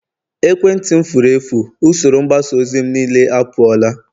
ekwentị m furu efu, usoro mgbasa ozi m niile apụọla